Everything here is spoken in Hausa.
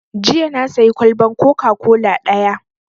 Jiya na sayi kwalban coca-cola ɗaya